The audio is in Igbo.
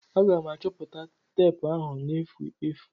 Aga m achọta teepu ahụ na-efu efu.